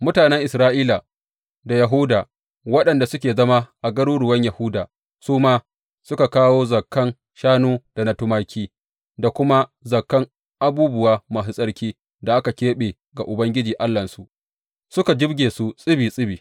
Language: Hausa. Mutanen Isra’ila da Yahuda waɗanda suke zama a garuruwan Yahuda, su ma suka kawo zakan shanu da na tumaki da kuma zakan abubuwa masu tsarki da aka keɓe ga Ubangiji Allahnsu, suka jibge su tsibi tsibi.